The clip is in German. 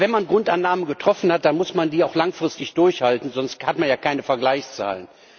Aber wenn man Grundannahmen getroffen hat, dann muss man die auch langfristig durchhalten, sonst hat man ja keine Vergleichszahlen.